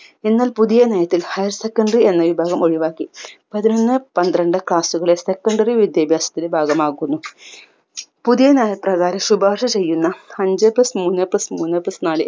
എന്നാൽ പുതിയ നയത്തിൽ higher secondary എന്ന വിഭാഗം ഒഴിവാക്കി പതിനൊന്ന് പത്രണ്ട് class കളിൽ secondary വിദ്യാഭ്യാസത്തിനി ഭാഗമാകുന്നു പുതിയ നയപ്രകാരം ശുപാർശ ചെയ്യുന്ന അഞ്ച്‌ plus മൂന്ന് plus മൂന്ന് plus നാല്